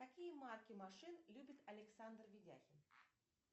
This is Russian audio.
какие марки машин любит александр ведяхин